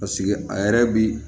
Paseke a yɛrɛ bi